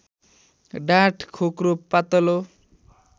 डाँठ खोक्रो पातलो